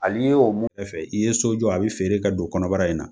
Hali y'o mun i ye so jɔ a bi feere i ka don kɔnɔbara in na.